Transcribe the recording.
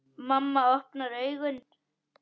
Mamma opnar augun.